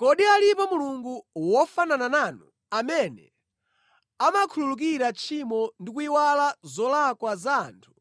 Kodi alipo Mulungu wofanana nanu, amene amakhululukira tchimo ndi kuyiwala zolakwa za anthu